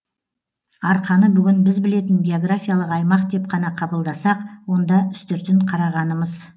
арқаны бүгін біз білетін географиялық аймақ деп қана қабылдасақ онда үстіртін қарағанымыз